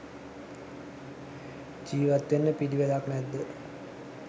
ජීවත් වෙන්න පිළිවෙලක් නැද්ද?